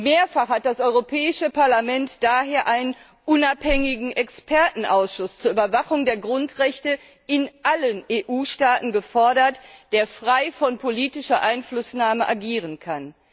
Mehrfach hat das Europäische Parlament daher einen unabhängigen Expertenausschuss zur Überwachung der Grundrechte in allen EU Staaten gefordert, der frei von politischer Einflussnahme agieren kann.